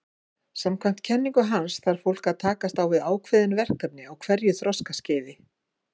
Samkvæmt kenningu hans þarf fólk að takast á við ákveðin verkefni á hverju þroskaskeiði.